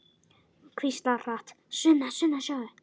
Hvíslar hratt: Sunna, Sunna, sjáðu!